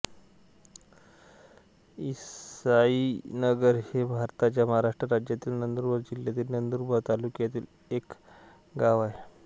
इसाईनगर हे भारताच्या महाराष्ट्र राज्यातील नंदुरबार जिल्ह्यातील नंदुरबार तालुक्यातील एक गाव आहे